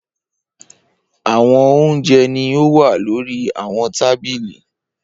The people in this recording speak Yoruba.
Awọn ounjẹ ni o wa lori awọn tabili.